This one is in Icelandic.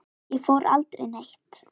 Ég fór aldrei neitt.